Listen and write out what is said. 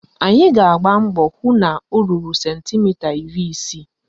Anyị ga-agba mbọ hụ na o ruru sentimita iri isii